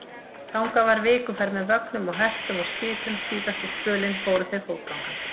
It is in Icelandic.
Þangað var vikuferð með vögnum og hestum og skipum, síðasta spölinn fóru þeir fótgangandi.